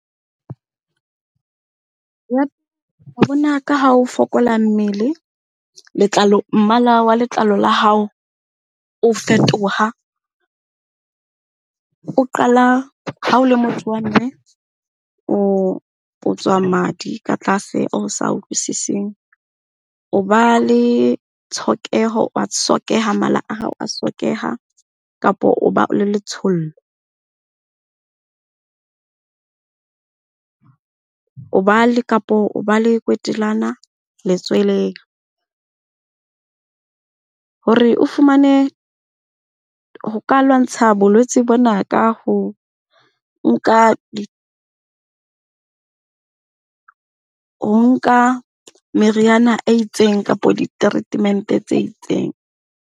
Bona ka ha o fokola mmele, letlalo, mmala wa letlalo la hao o fetoha. O qala ha o le motho wa mme o tswa madi ka tlase o sa utlwisiseng. O ba le tshokeho wa sokeha, mala a hao a sokeha kapo o ba le letshollo o ba le, kapa o ba le kwetelana letsweleng. Hore o fumane, ho ka lwantsha bolwetse bona ka ho nka meriana e itseng kapa di-treatment-e tse itseng.